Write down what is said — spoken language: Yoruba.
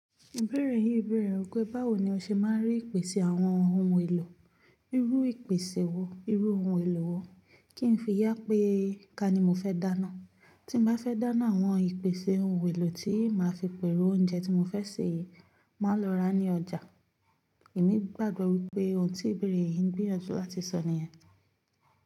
Ìbéèrè yín bèèrè pé báwo ni o ṣe máa ń rí ìpèsè àwọn ohun èlò, irú ìpèsè wo, irú ohun èlò wo, kí n fi yá pé ká ni mo fẹ́ dáná. Tí mo bá fẹ́ dáná àwọn ìpèsè ohun èlò tí màá fi pèrò oúnjẹ tí mo fẹ́ sè, màá lọ ra ní ọjà. Èmi gbàgbọ́ wípé ohun tí ìbéèrè yín gbé ọjọ́ láti sọ nìyẹn.